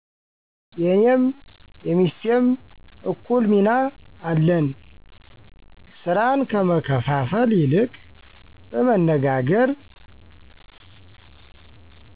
የኔም የሚስቴም እኩል ሚና አለን። የስራን ከመከፍፈል ይልቅ በመነጋገር